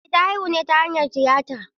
Eh ta haihu ne ta hanyar tiyata.